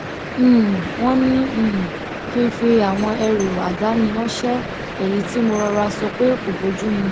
um wón ní um kí n fi àwọn ẹrù àdáni ránṣé èyí tí mo rọra sọ pé kò bójú mu